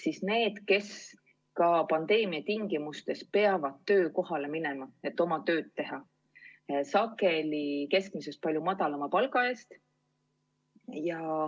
Need on inimesed, kes ka pandeemia tingimustes peavad töökohale minema, et oma tööd teha, sageli keskmisest palju madalama palga eest.